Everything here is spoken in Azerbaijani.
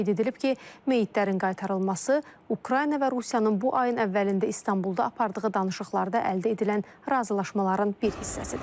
Qeyd edilib ki, meyitlərin qaytarılması Ukrayna və Rusiyanın bu ayın əvvəlində İstanbulda apardığı danışıqlarda əldə edilən razılaşmaların bir hissəsidir.